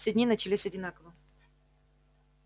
все дни начинались одинаково